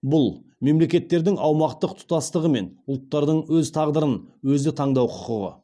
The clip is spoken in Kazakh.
бұл мемлекеттердің аумақтық тұтастығы мен ұлттардың өз тағдырын өзі таңдау құқығы